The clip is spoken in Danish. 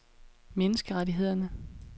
menneskerettighederne